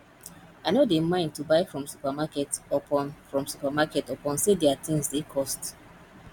i no dey mind to buy from supermarket upon from supermarket upon sey their tins dey cost